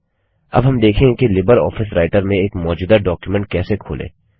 अब हम देखेंगे कि लिबर ऑफिस राइटर में एक मौजूदा डॉक्युमेंट कैसे खोलें